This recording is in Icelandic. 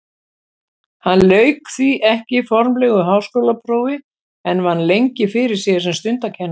Hann lauk því ekki formlegu háskólaprófi en vann lengi fyrir sér sem stundakennari.